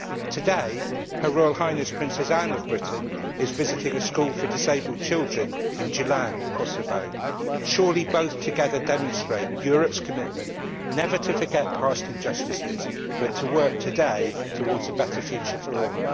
Today, Her Royal Highness Princess Anne of Britain is visiting a school for disabled children in Gjilan, Kosovo. Surely, both together demonstrate Europe's commitment never to forget past injustices but to work today towards a better future for all.